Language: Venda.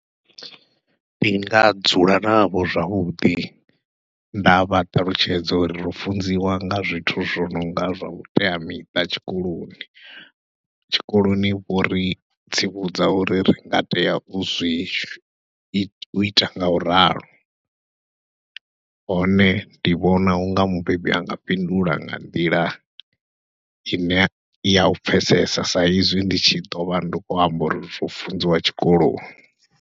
Ndi nga dzula navho zwavhuḓi, ndavha ṱalutshedza uri ro funziwa nga zwithu zwo nonga zwa vhuteamiṱa tshikoloni, tshikoloni vho ri tsivhudza uri ri nga tea uzwi uita ngau ralo. Hone ndi vhona unga mubebi anga fhindula nga nḓila ine yau pfhesesa sa izwi ndi tshi ḓovha ndi khou amba uri ro funziwa tshikoloni.